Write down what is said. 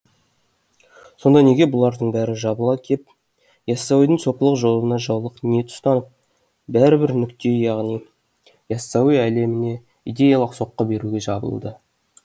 сонда неге бұлардың бәрі жабыла кеп яссауидің сопылық жолына жаулық ниет ұстанып бәрі бір нүктеге яғни яссауи әлеміне идеялық соққы беруге жабылуда